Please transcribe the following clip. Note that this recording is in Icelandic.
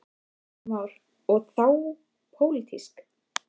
Heimir Már: Og þá pólitíska?